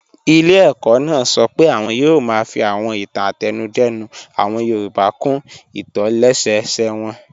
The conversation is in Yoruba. Ilé ẹ̀kọ́ náà sọ pé àwọn yóò máa fi àwọn ìtàn àtẹnudẹ́nu àwọn yorùbá kún ìtòlẹ́sẹẹsẹ wọn